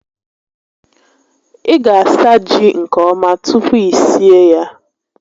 Ị ga asa ji nke ọma tupu i sie ya